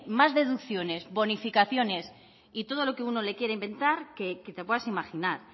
más deducciones más bonificaciones y todo lo que uno le quede inventar que te puedes imaginar